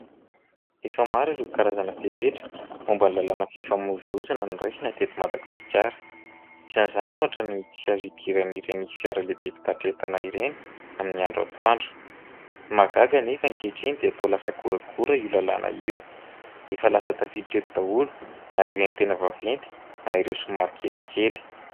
Efa maro ireo karazana fepetra momba ny lalànan'ny fifamovoizina noraisina eto Madagasikara. Isan'izany ohatra ny tsy azo idiran'ireny fiara lehibe mpitatitra entana ireny amin'ny andro atoandro. Mahagaga nefa ankehitriny dia toa lasa goragora io lalàna io, efa lasa tafiditra eto daholo na ireny tena vaventy na ireo somary kelikely.